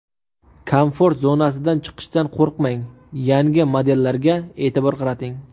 Komfort zonasidan chiqishdan qo‘rqmang, yangi modellarga e’tibor qarating.